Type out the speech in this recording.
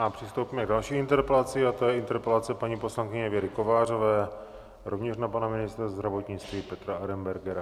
A přistoupíme k další interpelaci, a to je interpelace paní poslankyně Věry Kovářové, rovněž na pana ministra zdravotnictví Petra Arenbergera.